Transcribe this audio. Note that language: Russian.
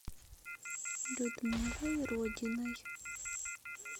людмилой родиной